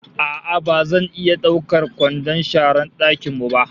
A'a ba zan iya daukar kwandon sharar dakin mu ba